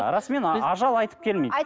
расымен ажал айтып келмейді